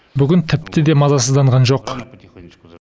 бүгін тіпті де мазасызданған жоқ